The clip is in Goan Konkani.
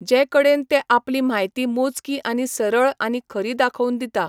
जे कडेन ते आपली म्हायती मोजकी आनी सरळ आनी खरी दाखोवन दिता.